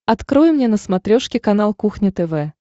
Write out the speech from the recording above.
открой мне на смотрешке канал кухня тв